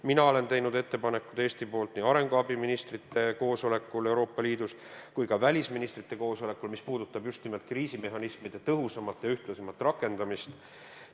Mina olen teinud Eesti nimel nii arenguabi ministrite koosolekul Euroopa Liidus kui ka välisministrite koosolekul ettepanekuid, mis puudutavad just nimelt kriisimehhanismide tõhusamat ja ühtlasemat rakendamist.